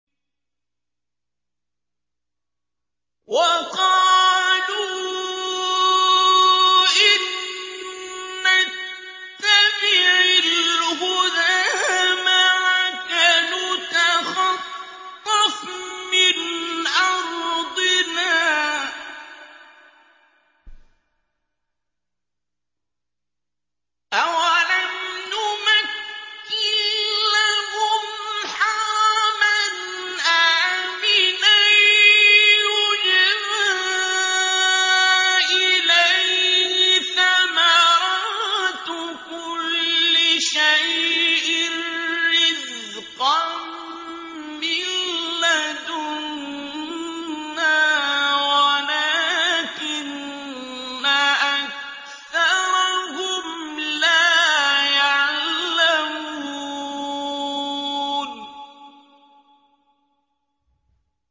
وَقَالُوا إِن نَّتَّبِعِ الْهُدَىٰ مَعَكَ نُتَخَطَّفْ مِنْ أَرْضِنَا ۚ أَوَلَمْ نُمَكِّن لَّهُمْ حَرَمًا آمِنًا يُجْبَىٰ إِلَيْهِ ثَمَرَاتُ كُلِّ شَيْءٍ رِّزْقًا مِّن لَّدُنَّا وَلَٰكِنَّ أَكْثَرَهُمْ لَا يَعْلَمُونَ